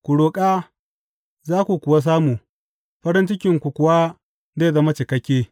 Ku roƙa za ku kuwa samu, farin cikinku kuwa zai zama cikakke.